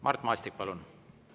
Mart Maastik, palun!